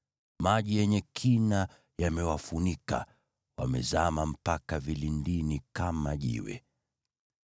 Maji yenye kina yamewafunika, wamezama mpaka vilindini kama jiwe.